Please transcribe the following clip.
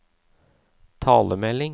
talemelding